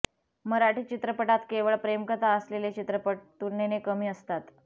मराठी चित्रपटात केवळ प्रेमकथा असलेले चित्रपट तुलनेने कमी असतात